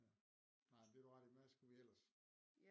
Ja nej men det har du ret i hvad skulle vi ellers